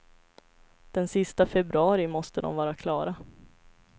Den sista februari måste de vara klara.